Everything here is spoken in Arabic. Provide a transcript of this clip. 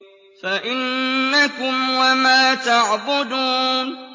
فَإِنَّكُمْ وَمَا تَعْبُدُونَ